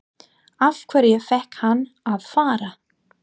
Af hverju fékk hann að fara?